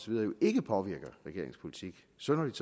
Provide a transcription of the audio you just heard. videre ikke påvirker regeringens politik synderligt